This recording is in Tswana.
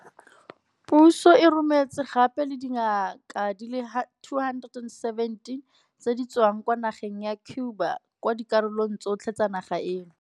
Puso e rometse gape le dingaka di le 217 tse di tswang kwa nageng ya Cuba kwa dikarolong tsotlhe tsa naga eno.